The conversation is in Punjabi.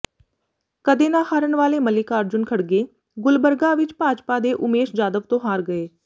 ਕਦੇ ਨਾ ਹਾਰਨ ਵਾਲੇ ਮੱਲਿਕਾਰਜੁਨ ਖੜਗੇ ਗੁਲਬਰਗਾ ਵਿੱਚ ਭਾਜਪਾ ਦੇ ਉਮੇਸ਼ ਜਾਧਵ ਤੋਂ ਹਾਰ ਗਏ